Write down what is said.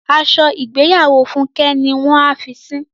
Aṣọ ìgbéyàwó Fúnkẹ́ ni wọ́n a fi sín.